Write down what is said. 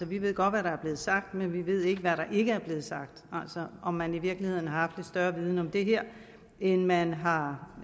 vi ved godt hvad der er blevet sagt men vi ved ikke hvad der ikke er blevet sagt altså om man i virkeligheden har haft lidt større viden om det her end man har